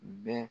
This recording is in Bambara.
Bɛɛ